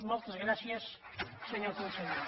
moltes gràcies senyor conseller